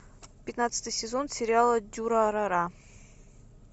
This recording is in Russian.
пятнадцатый сезон сериала дюрарара